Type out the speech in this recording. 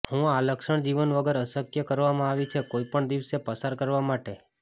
હું આ લક્ષણ જીવન વગર અશક્ય કરવામાં આવી છે કોઈ પણ દિવસે પસાર કરવા માટે